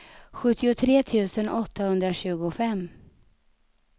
sjuttiotre tusen åttahundratjugofem